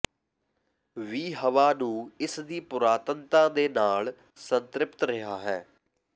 ਵੀ ਹਵਾ ਨੂੰ ਇਸ ਦੀ ਪੁਰਾਤਨਤਾ ਦੇ ਨਾਲ ਸੰਤ੍ਰਿਪਤ ਰਿਹਾ ਹੈ